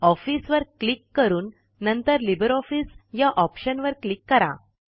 office वर click करून नंतर लिब्रे ऑफिस या ऑप्शनवर क्लिक करा